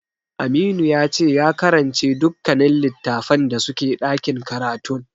Aminu yace ya karance dukkanin littatafan da suke ɗakin karatun.